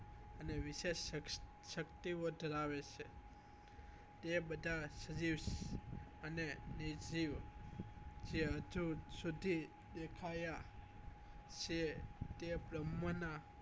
અને વિશેષ ક્ષ શક્તિ ઓ ધરાવે છે તે બધા સરીર અને નિધિઓ જે દેખાયા છીએ કે ભ્રમ નાં